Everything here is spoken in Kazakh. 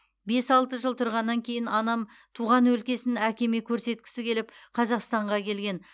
бес алты жыл тұрғаннан кейін анам туған өлкесін әкеме көрсеткісі келіп қазақстанға келген